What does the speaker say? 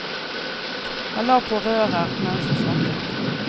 Han la på rører mens hun snakket.